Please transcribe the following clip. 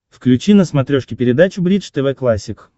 включи на смотрешке передачу бридж тв классик